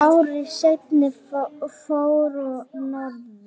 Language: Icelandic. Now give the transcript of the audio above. Ári seinna fór ég norður.